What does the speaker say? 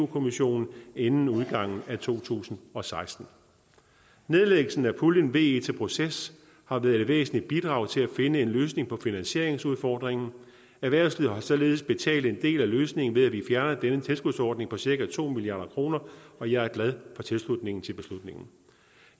kommissionen inden udgangen af to tusind og seksten nedlæggelse af puljen ve til proces har været et væsentligt bidrag til at finde en løsning på finansieringsudfordringen erhvervslivet har således betalt en del af løsningen ved at vi fjerner denne tilskudsordning på cirka to milliard kr og jeg er glad for tilslutningen til beslutningen